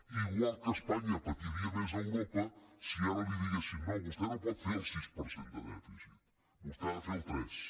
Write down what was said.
igual que espanya patiria més a europa si ara li diguessin no vostè no pot fer el sis per cent de dèficit vostè n’ha de fer el tres